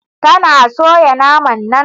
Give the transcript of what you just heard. Tana soya naman nan?